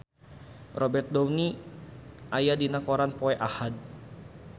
Robert Downey aya dina koran poe Ahad